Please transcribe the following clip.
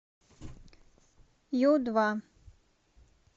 ю два